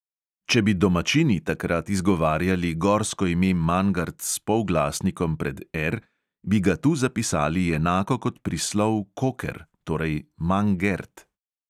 Če bi domačini takrat izgovarjali gorsko ime mangart s polglasnikom pred R, bi ga tu zapisali enako kot prislov koker, torej mangert.